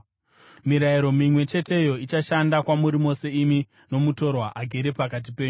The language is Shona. Mirayiro mimwe cheteyo ichashanda kwamuri mose, imi nomutorwa agere pakati penyu.’ ”